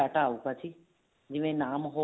ਆਉਗਾ ਜੀ ਜਿਵੇਂ ਨਾਮ